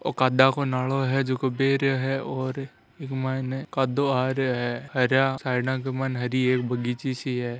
ओ कादा को नालों हे झको बह रो है और इक माइन कादो आरो है हरे साइड क माइन हरी एक बगीची सी है।